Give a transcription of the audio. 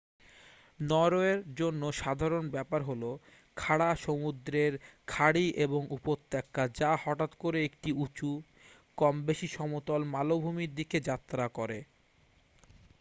নরওয়ের জন্য সাধারণ ব্যাপার হলো খাড়া সমুদ্রের খাঁড়ি এবং উপত্যকা যা হঠাৎ করে একটি উঁচু কম-বেশি সমতল মালভূমির দিকে যাত্রা করে